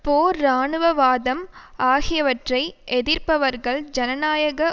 போர் இராணுவவாதம் ஆகியவற்றை எதிர்ப்பவர்கள் ஜனநாயக